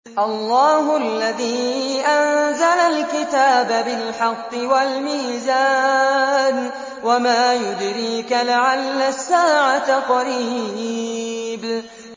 اللَّهُ الَّذِي أَنزَلَ الْكِتَابَ بِالْحَقِّ وَالْمِيزَانَ ۗ وَمَا يُدْرِيكَ لَعَلَّ السَّاعَةَ قَرِيبٌ